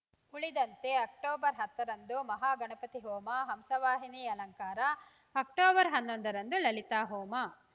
ಉಳಿದಂತೆ ಅಕ್ಟೋಬರ್ ಹತ್ತರಂದು ಮಹಾಗಣಪತಿ ಹೋಮ ಹಂಸವಾಹಿನಿ ಅಲಂಕಾರ ಅಕ್ಟೋಬರ್ ಹನ್ನೊಂದರಂದು ಲಲಿತಾ ಹೋಮ